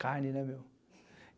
Carne, né, meu?